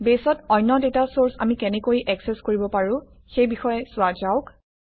বেছত অন্য data search আমি কেনেকৈ একচেচ কৰিব পাৰোঁ সেই বিষয়ে চোৱা যাওক